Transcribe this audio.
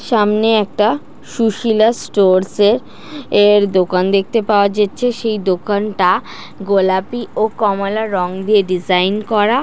সামনে একটা সুশীলা স্টোরস এর এর দোকান দেখতে পাওয়া যেচে দোকানটা গোলাপি ও কমলা রং দিয়ে ডিজাইন করা ।